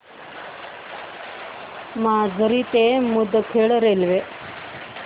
माजरी ते मुदखेड रेल्वे